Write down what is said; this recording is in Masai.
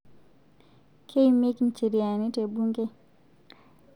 Keimieki ncheriani te bunge